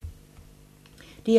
DR2